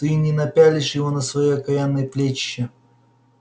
ты и не напялишь его на свои окаянные плечища